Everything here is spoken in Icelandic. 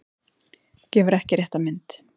Gefur ekki rétta mynd